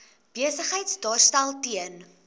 besigheid daarstel ten